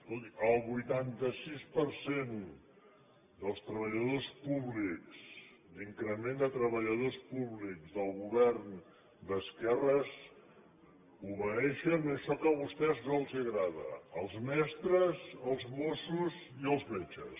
escolti el vuitanta sis per cent dels treballadors públics d’increment de treballadors públics del govern d’esquerres obeeixen a això que a vostès no els agrada els mestres els mossos i els metges